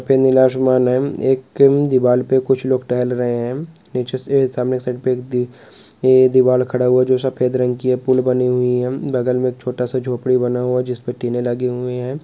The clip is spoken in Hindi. Open the lost my name एक क्रीम दीवार पर कुछ लोग टहल रहे हैं नीचे से सामने साइड पर दीवार खड़ा हुआ जो सफेद रंग की हैपुल बनी हुई है बगल में एक छोटा सा झोपड़ी बना हुआ जिस पर टीने लगे हुए हैं।